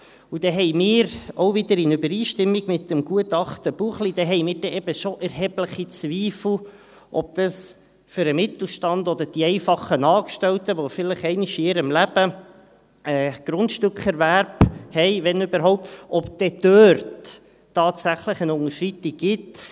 – Und da haben wir, auch wieder in Übereinstimmung mit dem Gutachten Buchli, eben schon erhebliche Zweifel, ob das für den Mittelstand oder die einfachen Angestellten, die vielleicht einmal in ihrem Leben Grundstückerwerb haben, wenn überhaupt, dann dort tatsächlich eine Unterschreitung gibt.